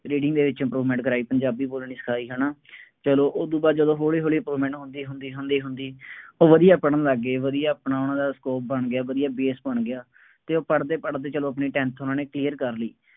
reading ਦੇ ਵਿੱਚ improvement ਕਰਾਈ, ਪੰਜਾਬੀ ਬੋਲਣੀ ਸਿਖਾਈ, ਹੈ ਨਾ, ਚੱਲੋ ਉਹਦੂ ਬਾਅਦ ਜਦੋਂ ਹੌਲੀ ਹੌਲੀ improvement ਹੁੰਦੀ ਹੁੰਦੀ ਹੁੰਦੀ ਹੁੰਦੀ ਉਹ ਵਧੀਆਂ ਪੜ੍ਹਨ ਲੱਗ ਗਈ, ਵਧੀਆ ਆਪਣਾ ਉਹਨਾ ਦਾ scope ਬਣ ਗਿਆ, ਵਧੀਆ base ਬਣ ਗਿਆ ਅਤੇ ਉਹ ਪੜ੍ਹਦੇ ਪੜ੍ਹਦੇ ਚੱਲੋ ਆਪਣੇ tenth ਉਹਨਾ ਨੇ clear ਕਰ ਲਈ।